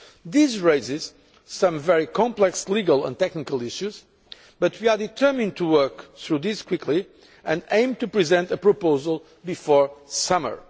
This raises some very complex legal and technical issues, but we are determined to work through these quickly and aim to present a proposal before the summer.